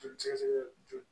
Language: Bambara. Joli sɛgɛsɛgɛ joona